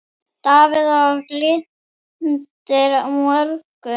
Davíð Og Glitnir á morgun.